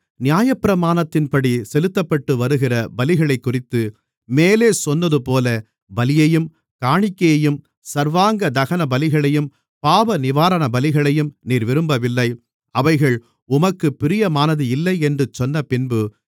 நியாயப்பிரமாணத்தின்படி செலுத்தப்பட்டுவருகிற பலிகளைக்குறித்து மேலே சொன்னதுபோல பலியையும் காணிக்கையையும் சர்வாங்கதகனபலிகளையும் பாவநிவாரணபலிகளையும் நீர் விரும்பவில்லை அவைகள் உமக்குப் பிரியமானது இல்லை என்று சொன்னபின்பு